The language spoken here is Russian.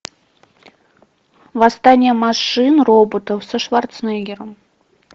восстание машин роботов со шварценеггером